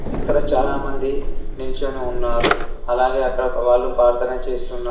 ఇక్కడ చాలామంది నిల్చొని ఉన్నారు అలాగే అక్కడొక వాళ్ళు ప్రార్థన చేస్తున్నారు.